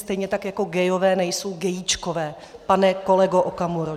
Stejně tak jako gayové nejsou gayíčkové, pane kolego Okamuro.